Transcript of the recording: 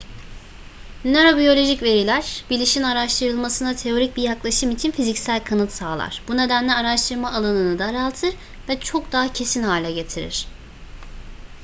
nörobiyolojik veriler bilişin araştırılmasına teorik bir yaklaşım için fiziksel kanıt sağlar bu nedenle araştırma alanını daraltır ve çok daha kesin hale getirir